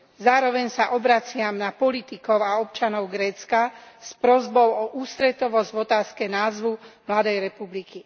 Zároveň sa obraciam na politikov a občanov Grécka s prosbou o ústretovosť v otázke názvu mladej republiky.